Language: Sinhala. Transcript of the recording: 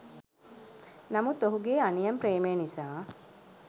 නමුත් ඔහුගේ අනියම් ප්‍රේමය නිසා